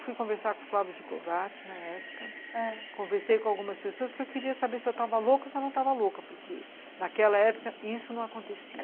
Fui conversar com o Flávio de Kovács na época, conversei com algumas pessoas porque eu queria saber se eu estava louca ou se eu não estava louca, porque naquela época isso não acontecia.